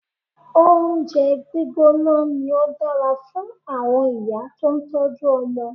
Oúnjẹ gbígbóná ni ó dára fún àwọn ìyá tó ń tọ́jú ọmọ.